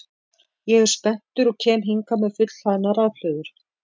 Ég er spenntur og kem hingað með fullhlaðnar rafhlöður.